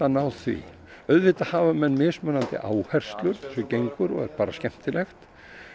náð því auðvitað hafa menn mismunandi áherslur eins og gengur og er bara skemmtilegt